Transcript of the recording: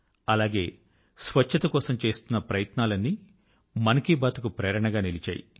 అలాగే స్వచ్ఛత కోసం చేస్తున్న ప్ియత్నాలన్నీ మన్ కీ బాత్ కు ప్రేరణ గా నిలిచాయి